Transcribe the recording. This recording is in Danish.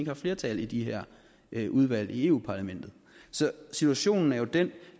har flertal i de her her udvalg i eu parlamentet så situationen er jo den